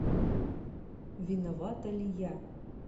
виновата ли я